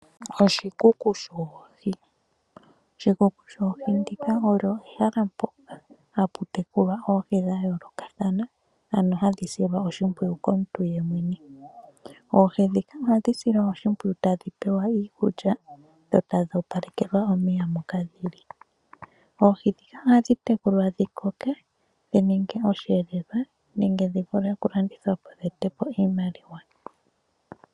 Oshikunino shoohi Oshikunino shoohi olyo ehala mpoka hapu tekulwa oohi dha yoolokathana, ano hadhi silwa oshimpwiyu komuntu yemwene. Oohi ndhika ohadhi silwa oshimpwiyu tadhi pewa iikulya dho tadhi opalekelwa omeya moka dhi li. Oohi ndhika ohadhi tekulwa dhi koke dhi ninge osheelelwa nenge dhi vule oku ka landithwa po dhi ete po iimaliwa.